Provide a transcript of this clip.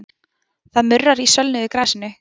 Það murrar í sölnuðu grasinu.